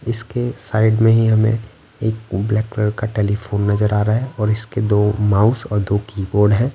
इसके साइड में ही हमें एक ब्लैक कलर का टेलीफोन नजर आ रहा है और इसके दो माउस और दो कीबोर्ड हैं।